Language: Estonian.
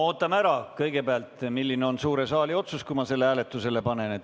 Ootame kõigepealt ära, milline on suure saali otsus, kui ma selle ettepaneku hääletusele panen.